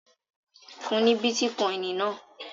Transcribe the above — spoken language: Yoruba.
Fún ní bítíkọ́ìn náà!